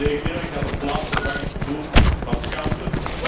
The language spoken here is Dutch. Integendeel, ik had een plaatsvervangend gevoel van schaamte.